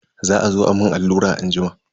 Za azo a mun allura anjima.